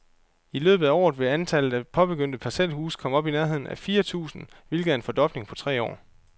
I løbet af året vil antallet af påbegyndte parcelhuse komme op i nærheden af fire tusind, hvilket er en fordobling på tre år.